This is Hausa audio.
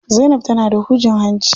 Zainab tana da hujin hanci.